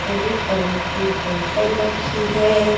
हरे colour की बोतल रखी है।